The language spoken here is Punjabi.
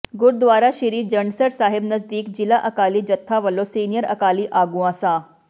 ਗੁਰੂਦਵਾਰਾ ਸ੍ਰੀ ਜੰਡਸਰ ਸਾਹਿਬ ਨਜਦੀਕ ਜ਼ਿਲ੍ਹਾ ਅਕਾਲੀ ਜੱਥਾ ਵਲੋਂ ਸੀਨੀਅਰ ਅਕਾਲੀ ਆਗੂਆਂ ਸ